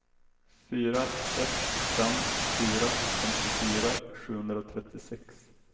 fyra ett fem fyra femtiofyra sjuhundratrettiosex